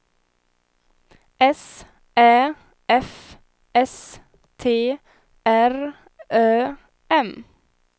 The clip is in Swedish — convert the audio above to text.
S Ä F S T R Ö M